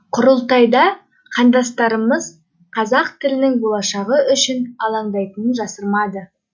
құрылтайда қандастармыз қазақ тілінің болашағы үшін алаңдайтынын жасырмады